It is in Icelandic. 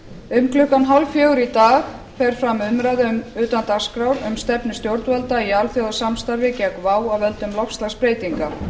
um klukkan þrjú þrjátíu í dag fer fram umræða utan dagskrár um stefnu stjórnvalda í alþjóðasamstarfi gegn vá af völdum loftslagsbreytinga